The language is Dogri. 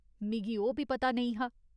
मिगी ओह् बी पता नेईं हा।